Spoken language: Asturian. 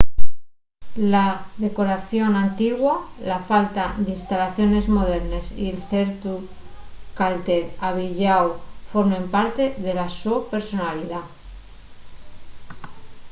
la decoración antigua la falta d'instalaciones modernes y ciertu calter avieyáu formen parte de la so personalidá